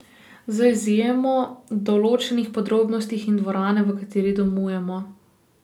Z izjemo določenih podrobnosti in dvorane, v kateri domujemo.